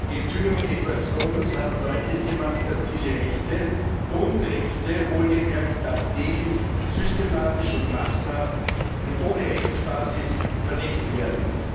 Die Enthüllungen Edward Snowdens haben deutlich gemacht, dass diese Rechte Grundrechte wohlgemerkt tagtäglich systematisch und massenhaft und ohne Rechtsbasis verletzt werden.